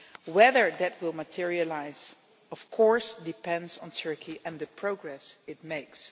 Whether that will materialise, of course, depends on Turkey and the progress it makes.